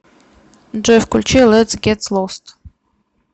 джой включи летс гет лост